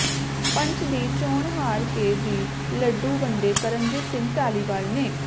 ਪੰਚ ਦੀ ਚੋਣ ਹਾਰ ਕੇ ਵੀ ਲੱਡੂ ਵੰਡੇ ਕਰਮਜੀਤ ਸਿੰਘ ਧਾਲੀਵਾਲ ਨੇ